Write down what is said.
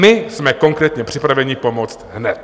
My jsme konkrétně připraveni pomoct hned.